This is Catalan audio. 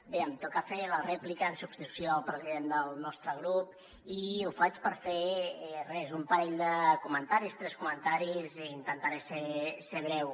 bé em toca fer la rèplica en substitució del president del nostre grup i ho faig per fer res un parell de comentaris tres comentaris i intentaré ser breu